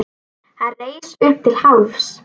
Hann reis upp til hálfs.